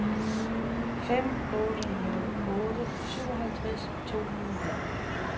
fem otte nul otte syvoghalvtreds to hundrede og nitten